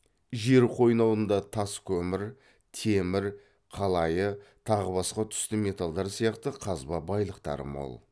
жер қойнауында тас көмір темір қалайы тағы басқа түсті металдар сияқты қазба байлықтары мол